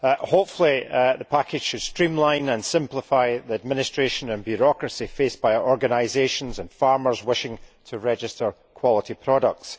Hopefully the package should streamline and simplify the administration and bureaucracy faced by organisations and farmers wishing to register quality products.